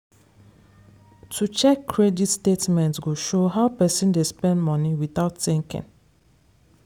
to check credit statement go show how person dey spend money without thinking